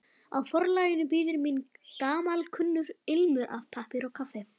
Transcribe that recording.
Á forlaginu bíður mín gamalkunnur ilmur af pappír og kaffi.